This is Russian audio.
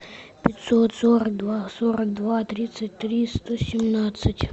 пятьсот сорок два сорок два тридцать три сто семнадцать